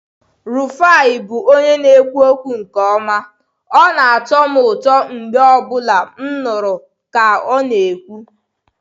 Rufai bụ onye na-ekwu okwu nke ọma, ọ na-atọ m ụtọ mgbe ọ bụla m nụrụ ka ọ na-ekwu.